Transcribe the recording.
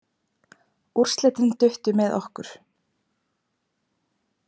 Úrslitin duttu með okkur.